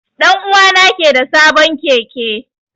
Dan'uwa na ke da sabon Keke.